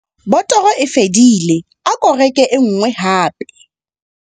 Botoro e fedile ako reke e nngwe hape.